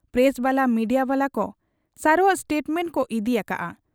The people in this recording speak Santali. ᱯᱨᱮᱥᱵᱟᱞᱟ ᱢᱤᱰᱤᱭᱟ ᱵᱟᱞᱟᱠᱚ ᱥᱟᱨᱚᱣᱟᱜ ᱥᱴᱮᱴᱢᱮᱸᱴ ᱠᱚ ᱤᱫᱤ ᱟᱠᱟᱜ ᱟ ᱾